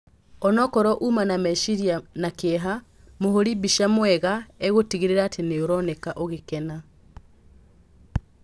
Onokorwo uma na meciria na kĩeha, mũhũri mbica mwega egũtigĩrĩra atĩ nĩũronekana ũgĩkena.